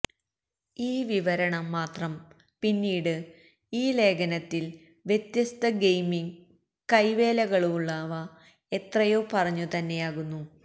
ഈ വിവരണം മാത്രം പിന്നീട് ഈ ലേഖനത്തിൽ വ്യത്യസ്ത ഗെയിമിംഗ് കൈവേലകളുള്ളവ എത്രയോ പറഞ്ഞു തന്നെയാകുന്നു